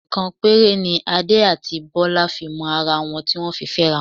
Ọ̀sẹ̀ kan péré ni Adé àti Bọ́lá fi mọ ara wọn tí wọ́n fi fẹ́ra.